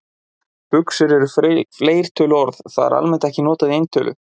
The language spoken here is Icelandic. Buxur er fleirtöluorð, það er almennt ekki notað í eintölu.